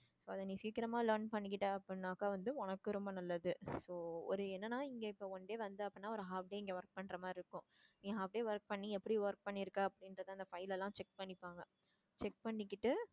அத நீ சீக்கிரமா learn பண்ணிக்கிட்ட அபப்டின்னாக்க வந்து உனக்கு ரொம்ப நல்லது so ஒரு என்னன்னா இங்க one day வந்தே அப்படின்னா ஒரு half day இங்க work பண்ற மாதிரி இருக்கும். நீ half day work பண்ணி எப்படி work பண்ணிருக்க அப்படின்றத அந்த file எல்லாம் check பண்ணிப்பாங்க check பண்ணிக்கிட்டு